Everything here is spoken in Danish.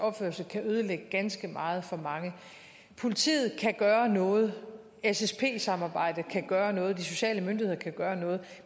opførsel kan ødelægge ganske meget for mange politiet kan gøre noget ssp samarbejdet kan gøre noget de sociale myndigheder kan gøre noget